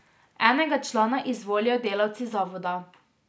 Enega člana izvolijo delavci zavoda.